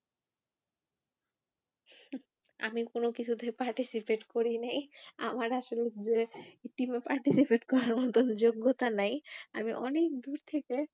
আমি কোনো কিছুতেই participate করি নেই, আমার team এ participate করার মতো যোগ্যতা নেই আমি অনেক দূর থেকে